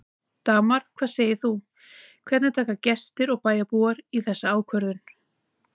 Dagmar, hvað segir þú, hvernig taka gestir og bæjarbúar í þessa ákvörðun?